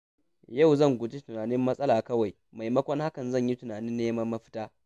Yau zan guji yin tunanin matsala kawai, maimakon haka zan yi tunanin neman mafita.